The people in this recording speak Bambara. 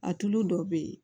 A tulu dɔ be yen